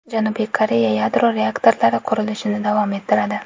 Janubiy Koreya yadro reaktorlari qurilishini davom ettiradi.